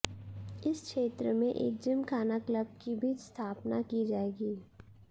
इस क्षेत्र में एक जिमखाना क्लब की भी स्थापना की जाएगी